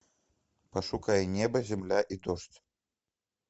пошукай небо земля и дождь